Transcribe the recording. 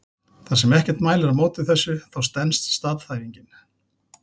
Þar sem ekkert mælir á móti þessu þá stenst staðhæfingin.